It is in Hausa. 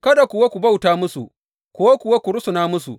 Kada kuwa ku bauta musu ko kuwa ku rusuna musu.